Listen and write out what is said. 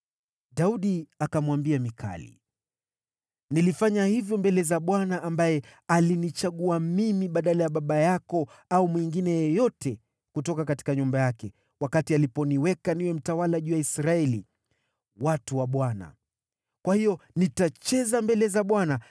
Daudi akamwambia Mikali, “Nilifanya hivyo mbele za Bwana ambaye alinichagua mimi badala ya baba yako au mwingine yeyote kutoka nyumba yake wakati aliponiweka niwe mtawala juu ya Israeli, watu wa Bwana . Kwa hiyo nitacheza mbele za Bwana .